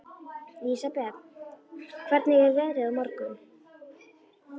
Lísebet, hvernig er veðrið á morgun?